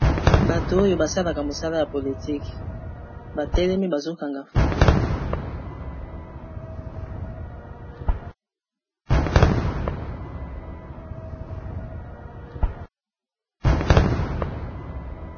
Bato oyo ba salaka mosala ya politike ba telemi bazo kanga photo.